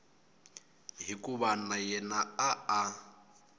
hikuva na yena a a